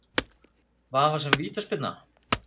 Vafasöm vítaspyrna?